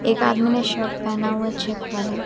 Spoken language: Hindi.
एक आदमी ने शर्ट पहना हुआ है चेक वाला।